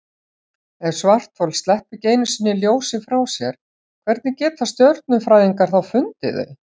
Ef svarthol sleppa ekki einu sinni ljósi frá sér, hvernig geta stjörnufræðingar þá fundið þau?